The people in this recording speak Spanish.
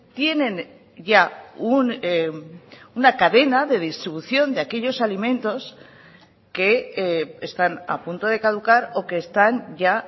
tienen ya una cadena de distribución de aquellos alimentos que están a punto de caducar o que están ya